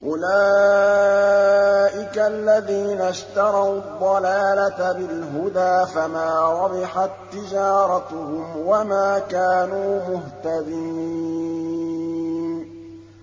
أُولَٰئِكَ الَّذِينَ اشْتَرَوُا الضَّلَالَةَ بِالْهُدَىٰ فَمَا رَبِحَت تِّجَارَتُهُمْ وَمَا كَانُوا مُهْتَدِينَ